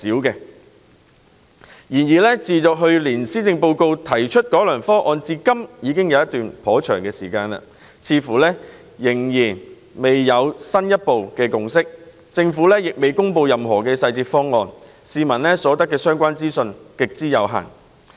然而，自去年施政報告提出改良方案至今已有一段頗長時間，各界卻似乎未能達致進一步的共識，政府亦尚未公布任何細節方案，市民所得的相關資訊極之有限。